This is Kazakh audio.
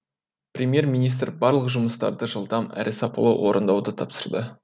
премьер министр барлық жұмыстарды жылдам әрі сапалы орындауды тапсырды